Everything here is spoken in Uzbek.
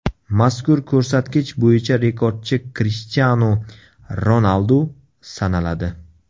Mazkur ko‘rsatkich bo‘yicha rekordchi Krishtianu Ronaldu sanaladi.